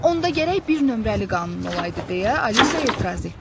Onda gərək bir nömrəli qanun olaydı deyə Alisa etiraz etdi.